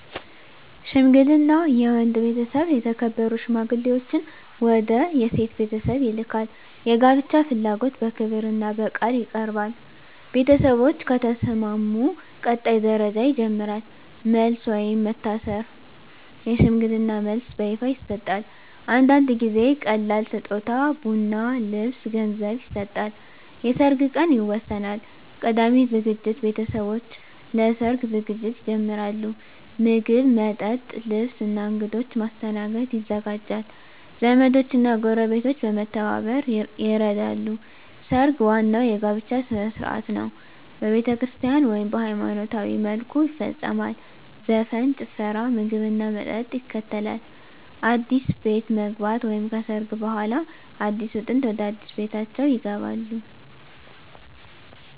ሽምግልና የወንድ ቤተሰብ የተከበሩ ሽማግሌዎችን ወደ የሴት ቤተሰብ ይልካል። የጋብቻ ፍላጎት በክብርና በቃል ይቀርባል። ቤተሰቦች ከተስማሙ ቀጣይ ደረጃ ይጀምራል። መልስ (ወይም መታሰር) የሽምግልና መልስ በይፋ ይሰጣል። አንዳንድ ጊዜ ቀላል ስጦታ (ቡና፣ ልብስ፣ ገንዘብ) ይሰጣል። የሰርግ ቀን ይወሰናል። ቀዳሚ ዝግጅት ቤተሰቦች ለሰርግ ዝግጅት ይጀምራሉ። ምግብ፣ መጠጥ፣ ልብስ እና እንግዶች ማስተናገድ ይዘጋጃል። ዘመዶች እና ጎረቤቶች በመተባበር ይረዳሉ። ሰርግ ዋናው የጋብቻ ሥነ ሥርዓት ነው። በቤተክርስቲያን (ወይም በሃይማኖታዊ መልኩ) ይፈጸማል። ዘፈን፣ ጭፈራ፣ ምግብና መጠጥ ይከተላል። አዲስ ቤት መግባት (ከሰርግ በኋላ) አዲሱ ጥንድ ወደ አዲስ ቤታቸው ይገባሉ።